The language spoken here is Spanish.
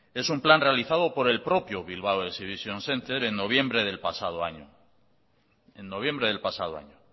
es un plan realizado por el propio bilbao exhibition centre en noviembre del pasado año